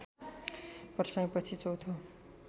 प्रसाईँ पछि चौथो